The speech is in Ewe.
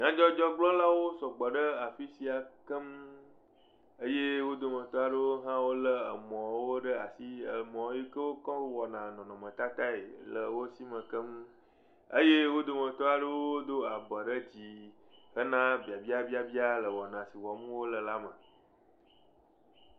Nyadzɔdzɔgblɔlawo sɔgbɔ ɖe afi sia keŋ eye wo dometɔ aɖewo hã lé mɔ ɖe asi emɔ yi ke woko wɔna nɔnɔmetata le wo sime keŋ eye wo dometɔ aɖewo dɔ abɔ ɖe dzi hena babiabia le wɔna si wɔm wole la me.